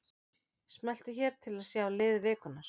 Smelltu hér til að sjá lið vikunnar